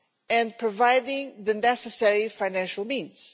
and providing the necessary financial means.